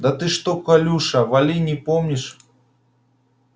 да ты что колюша вали не помнишь